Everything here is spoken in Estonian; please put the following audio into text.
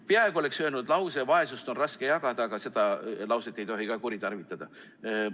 Peaaegu oleksin öelnud lause, et vaesust on raske jagada, aga seda lauset ei tohi ka kuritarvitada.